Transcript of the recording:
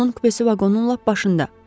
Onun kupesi vaqonun lap başında.